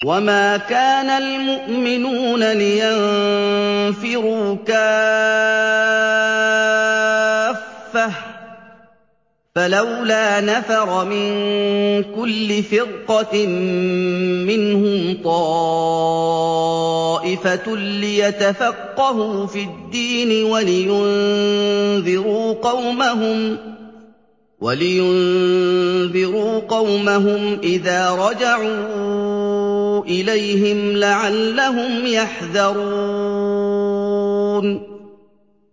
۞ وَمَا كَانَ الْمُؤْمِنُونَ لِيَنفِرُوا كَافَّةً ۚ فَلَوْلَا نَفَرَ مِن كُلِّ فِرْقَةٍ مِّنْهُمْ طَائِفَةٌ لِّيَتَفَقَّهُوا فِي الدِّينِ وَلِيُنذِرُوا قَوْمَهُمْ إِذَا رَجَعُوا إِلَيْهِمْ لَعَلَّهُمْ يَحْذَرُونَ